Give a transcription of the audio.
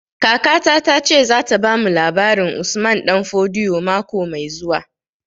Kakata ta ce za ta bamu labarin Usman Danfodio mako mai zuwa